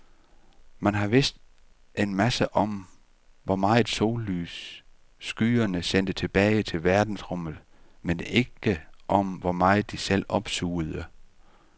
Man har vidst en masse om, hvor meget sollys skyerne sendte tilbage til verdensrummet, men ikke om, hvor meget de selv opsugede.